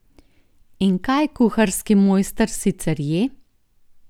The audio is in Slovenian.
In kaj kuharski mojster sicer je?